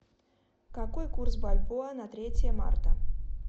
какой курс бальбоа на третье марта